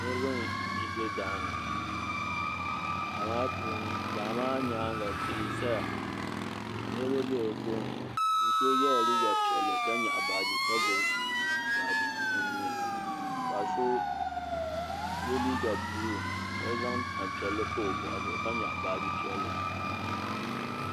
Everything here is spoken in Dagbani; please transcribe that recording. Niriba n zɛ daani ŋɔ daa maa puuni daa maa yɛanga tihi n saya ka niriba bɛ ni tooni ka yɛɣi baaji ka gbubi baaji o nuu ni paɣa so ye liiga buluu ka zaŋ tani piɛlli pa o bɔɣu ka gbubi baaji piɛlli.